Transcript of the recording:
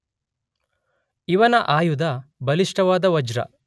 ಇವನ ಆಯುಧ ಬಲಿಷ್ಠವಾದ ವಜ್ರ.